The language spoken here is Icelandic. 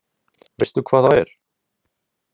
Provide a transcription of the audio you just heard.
Veistu hvað það er?